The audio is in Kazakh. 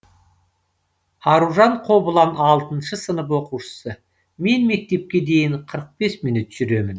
аружан қобылан алтыншы сынып оқушысы мен мектепке дейін қырық бес минут жүремін